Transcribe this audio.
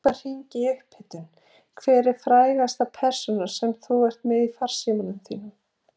Hlaupa hringi í upphitun Hver er frægasta persónan sem þú ert með í farsímanum þínum?